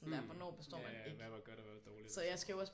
Mh ja ja hvad var godt og hvad var dårligt og sådan